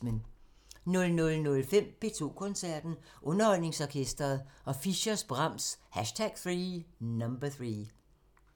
00:05: P2 Koncerten – Underholdningsorkestret og Fischers' Brahms #3